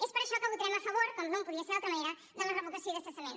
és per això que votarem a favor com no podia ser d’una altra manera de la revocació i del cessament